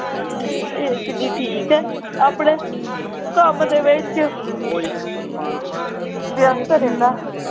ਤੇ ਏਸ ਵੀ ਠੀਕ ਹੈ ਆਪਣੇ ਕੰਮ ਦੇ ਵਿਚ ਵਿਅਸਤ ਰਹਿੰਦਾ।